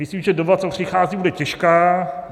Myslím, že doba, co přichází, bude těžká.